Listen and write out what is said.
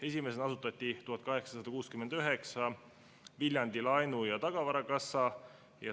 Esimesena asutati 1869 Viljandi laenu- ja tagavarakassa.